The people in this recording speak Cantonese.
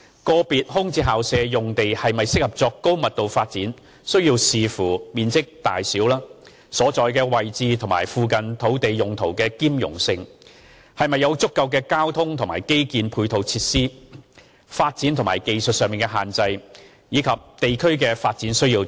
個別空置校舍用地是否適合作高密度發展須視乎面積大小、所在位置、與附近土地用途的兼容性、是否有足夠的交通和基建配套設施、發展或技術上的限制，以及地區的發展需要等。